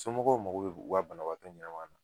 Somɔgɔw mago bɛ u ka banabaatɔ ɲɛnama na